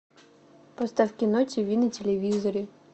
поставь кино тиви на телевизоре